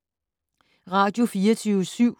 Radio24syv